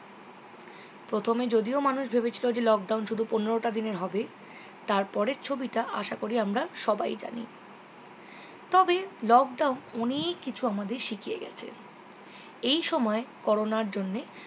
প্রথমে যদিও মানুষ ভেবেছিলো যে lockdown শুধু পনেরোটা দিনের হবে তার পরের ছবিটা আশাকরি আমরা সবাই জানি তবে lockdown অনেক কিছু আমাদের শিখিয়ে গেছে এই সময় কোরোনার জন্যে